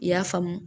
I y'a faamu